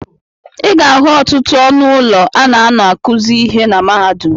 Ị ga-ahụ ọtụtụ ọnụ ụlọ a na-anọ akụzị ịhe na mahadum.